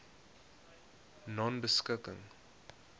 nonebeskikking